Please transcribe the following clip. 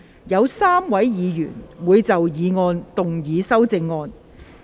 有3位議員會就議案動議修正案。